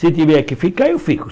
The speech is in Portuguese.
Se tiver que ficar, eu fico.